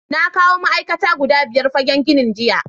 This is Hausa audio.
Na kawo ma’aikata guda biyar fagen ginin jiya.